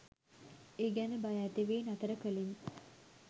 ඒ ගැන භය ඇතිවී නතර කලෙමි